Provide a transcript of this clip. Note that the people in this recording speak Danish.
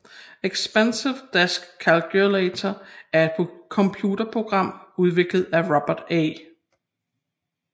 Expensive Desk Calculator er et computerprogram udviklet af Robert A